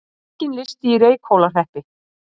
Enginn listi í Reykhólahreppi